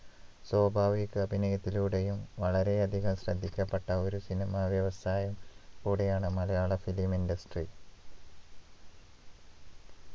സ്വാഭാവിക അഭിനയത്തിലൂടെയും വളരെയധികം ശ്രദ്ധിക്കപ്പെട്ട ഒരു സിനിമാ വ്യവസായം കൂടെയാണ് മലയാള film industry